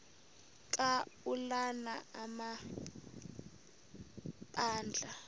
ka ulana amabandla